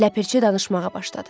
Ləpirçi danışmağa başladı.